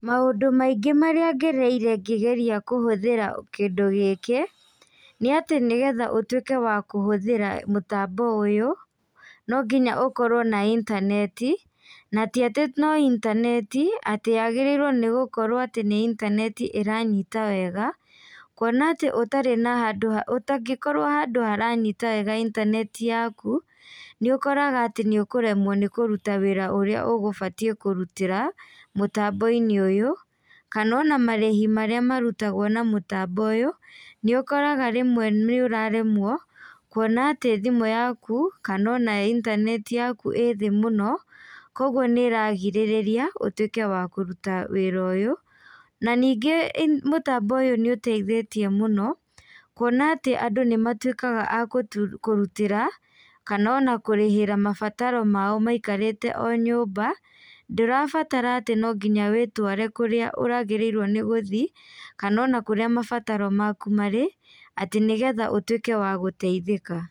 Maũndũ maingĩ marĩa ngereire ngĩgeria kũhũthĩra kĩndũ gĩkĩ, nĩ atĩ nĩgetha ũtuĩke wakũhũthĩra mũtambo ũyũ, no nginya ũkorwo na intaneti, na ti atĩ no intaneti atĩ yagĩrĩirwo nĩ gũkorwo atĩ nĩ intaneti ĩranyita wega, kũona atĩ ũtarĩ na handũ, ũtangĩkorwo handũ haranyita wega intaneti yaku nĩ ũkoraga atĩ nĩ ũkũremwo nĩ kũruta wĩra ũrĩa ũgũbatiĩ kũrutĩra mũtambo-inĩ ũyũ. Kana ona marĩhi marĩa marutagwo na mũtambo ũyũ nĩ ũkoraga rĩmwe nĩ ũraremwo kũona atĩ thimũ yaku kana ona intaneti yaku ĩĩ thĩ mũno koguo nĩ ĩragirĩrĩria ũtuĩke wa kũruta wĩra ũyũ. Na ningĩ mũtambo ũyũ nĩ ũteithĩtie mũno, kuona atĩ andũ nĩ matuĩkaga a kũrutĩra kana ona kũrĩhĩra mabataro mao maikarĩte o nyũmba, ndũrabatara atĩ no nginya wĩtware kũrĩa ũragĩrĩirwo ni gũthiĩ kana ona kũrĩa mabataro maku marĩ, atĩ nĩgetha ũtuĩke wa gũteithĩka.